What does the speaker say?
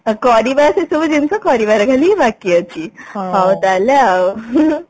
କରିବା ସେ ସବୁ ଜିନିଷ କରିବାର ହିଁ ବାକି ଅଛି ହାଉ ତାହେଲେ ଆଉ